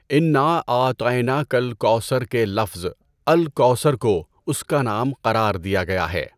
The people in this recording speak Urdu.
انآ اعطینٰک الکوثر کے لفظ "الکوثر" کو اس کا نام قرار دیا گیا ہے۔